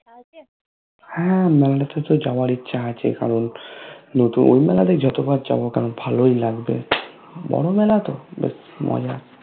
হ্যা মেলাতেতো যাবার ইচ্ছা আছে কারণ ওই মেলাতে যতোবার যায়না কেনো ভালোএ লাগবে বোরো মেলাতো বেশ মজা